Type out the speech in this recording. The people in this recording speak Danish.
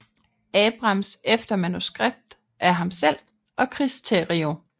Abrams efter manuskript af ham selv og Chris Terrio